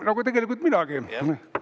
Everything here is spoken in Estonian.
Nagu tegelikult minagi.